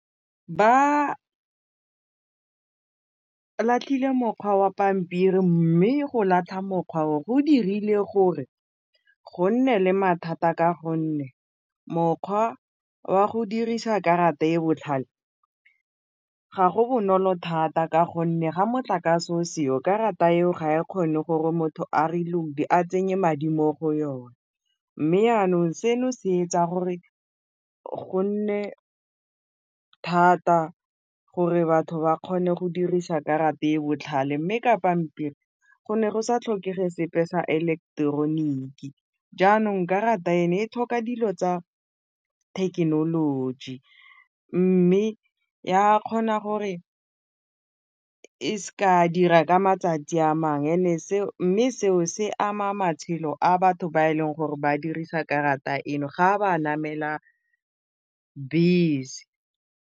Ba latlhile mokgwa wa pampiri mme go latlha mokgwa o go dirile gore go nne le mathata ka gonne mokgwa wa go dirisa karata e e botlhale ga go bonolo thata ka gonne ga motlakase o seo karata eo ga e kgone gore motho a reload-e a tsenye madi mo go yone mme yanong seno se etsa gore go nne thata gore batho ba kgone go dirisa karata e botlhale, mme ka pampiri go ne go sa tlhokege sepe sa eleketeroniki jaanong karata e tlhoka dilo tsa thekenoloji mme ya kgona gore e s'ka dira ka matsatsi a mme seo se ama matshelo a batho ba e leng gore ba dirisa karata eno ga ba namela bese.